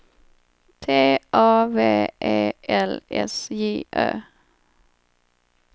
T A V E L S J Ö